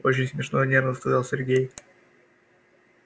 очень смешно нервно сказал сергей